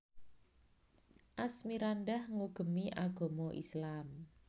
Asmirandah ngugemi agaman Islam